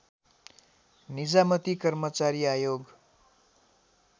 निजामती कर्मचारी आयोग